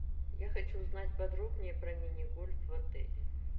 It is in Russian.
я хочу узнать подробнее про мини гольф в отеле